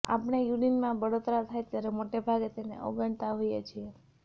આપણે યુરિનમાં બળતરા થાય ત્યારે મોટેભાગે તેને અવગણતાં હોઇએ છીએ